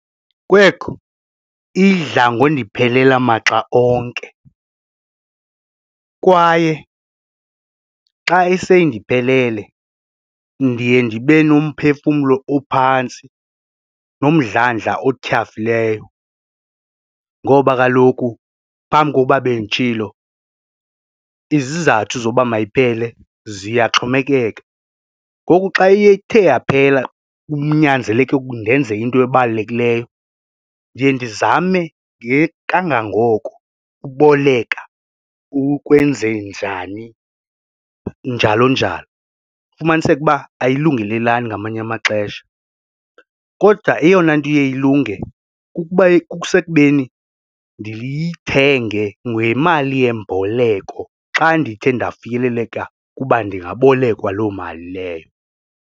Kwekhu, idla ngondiphelela maxa onke kwaye xa iseyindiphelele ndiye ndibe nomphefumlo ophantsi nomdlandla otyhafileyo ngoba kaloku phambi kokuba benditshilo izizathu zoba mayiphele ziyaxhomekeka. Ngoku xa iye ithe yaphela kunyanzeleke ndenze into ebalulekileyo ndiye ndizame kangangoko ukuboleka ukwenze njani njalo njalo. Ufumaniseke uba ayilungelelelani ngamanye amaxesha, kodwa eyona nto iye ilunge kukuba, kusekubeni ndiyithenge ngemali yemboleko xa ndithe ndafikeleleka ukuba ndingabolekwa loo mali leyo.